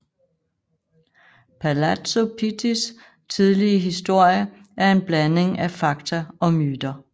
Palazzo Pittis tidlige historie er en blanding af fakta og myter